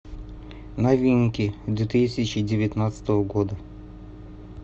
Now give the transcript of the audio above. новинки две тысячи девятнадцатого года